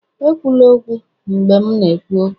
Ekwula okwu, mgbe m na-ekwu okwu!